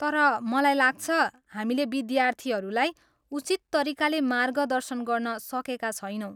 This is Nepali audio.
तर, मलाई लाग्छ, हामीले विद्यार्थीहरूलाई उचित तरिकाले मार्गदर्शन गर्न सकेका छैनौँ।